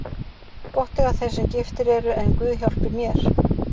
Gott eiga þeir sem giftir eru en guð hjálpi mér.